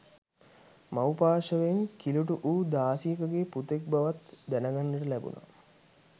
මව් පාර්ශවයෙන් කිලූටු වූ දාසියකගේ පුතෙක් බවත් දැනගන්නට ලැබුනා